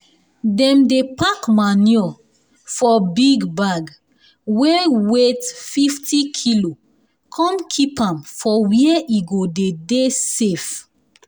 dem dey pack manure for big bag wey weigh fifty kilo come keep am for where e go dey dey safe